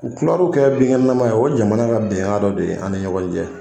U tilaraw ka o ye jamana ka bɛn kan dɔ de ye ani ɲɔgɔn cɛ.